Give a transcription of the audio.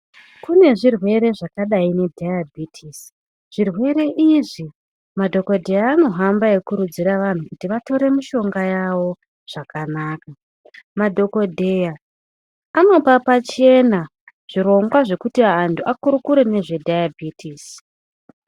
Kune zvirwere zvakadai nedhayabhitisi zvirwere izvi madhokoteya anohamba eyikurudzira vantu kuti vatore mishonga yavo zvakanaka. Madhokodheya anoopa pachena zvirongwa zvekuti antu akurukure nezvedhayabhitisi.